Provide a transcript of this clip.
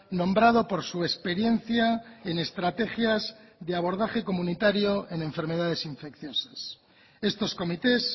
nombrado por su experiencia en estrategias de abordaje comunitario en enfermedades infecciosas estos comités